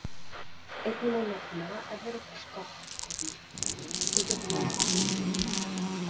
Einnig má nefna evrópska höggorminn sem getur verið banvænn.